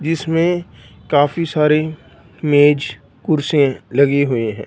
जीसमें काफी सारे मेज कुर्सी लगी हुई है।